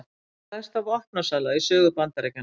Stærsta vopnasala í sögu Bandaríkjanna